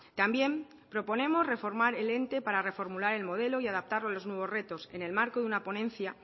también proponemos reformar el ente para reformular el modelo y adaptarlo a los nuevos retos en el marco de una ponencia